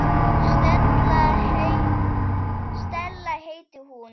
Stella heitir hún.